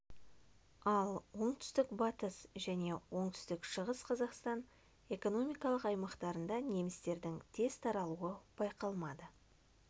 ал оңтүстік батыс және оңтүстік шығыс қазақстан экономикалық аймақтарында немістердің тез таралуы байқалмады